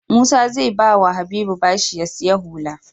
Musa ze bawa habibu bashi ya siya hula